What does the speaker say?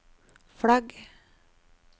flagg